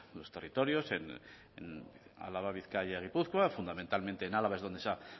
los territorios en álava bizkaia gipuzkoa fundamentalmente en álava es donde se han